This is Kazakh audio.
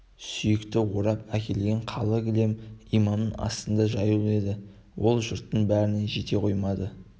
сүйекті орап әкелген қалы кілем имамның астында жаюлы еді ол жұрттың бәріне жете қоймады